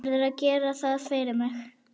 Verður að gera það fyrir mig.